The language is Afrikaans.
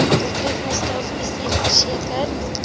doeltreffende staatsbestuur verseker